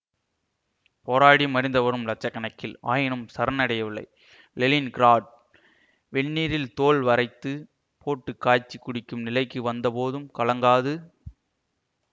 போராடி மடிந்தவரும் இலட்ச கணக்கில் ஆயினும் சரணடையவில்லை லெலின் கிராட் வெந்நீரில் தோல் வாரைத்து போட்டு காய்ச்சி குடிக்கும் நிலைக்கு வந்தபோதும் கலங்காது